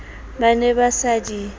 ba ne ba sa di